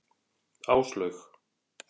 Áslaug